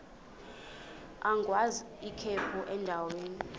agwaz ikhephu endaweni